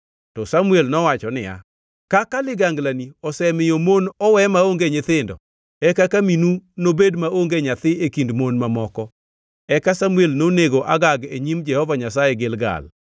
To Samuel nowacho niya, “Kaka liganglani osemiyo mon owe maonge nyithindo, e kaka minu nobed maonge nyathi e kind mon mamoko.” Eka Samuel nonego Agag e nyim Jehova Nyasaye, Gilgal.